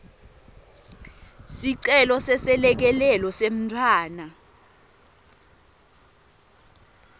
sicelo seselekelelo semntfwana